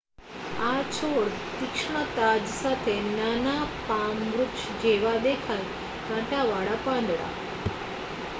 આ છોડ તીક્ષ્ણ તાજ સાથે નાના પામ વૃક્ષ જેવા દેખાય કાંટાવાળા પાંદડા